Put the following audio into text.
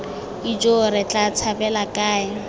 ijoo re tla tshabela kae